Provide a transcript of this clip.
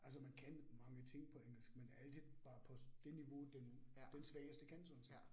Altså man kan mange ting på engelsk, men altid bare på det niveau den den svageste kan sådan set